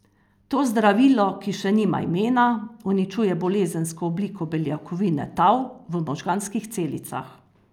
To zdravilo, ki še nima imena, uničuje bolezensko obliko beljakovine tau v možganskih celicah.